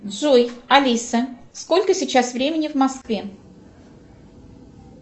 джой алиса сколько сейчас времени в москве